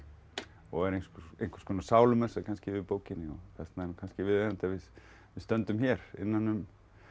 og er einhvers einhvers konar sálumessa kannski yfir bókinni og þess vegna kannski viðeigandi að við stöndum hér innan um